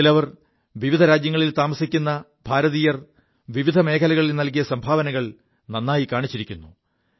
അതിൽ അവർ വിവിധ രാജ്യങ്ങളിൽ താമസിക്കു ഭാരതീയർ വിവിധ മേഖലകളിൽ നൽകിയ സംഭാവനകൾ നായി കാണിച്ചിരിക്കുു